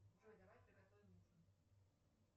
джой давай приготовим ужин